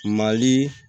Mali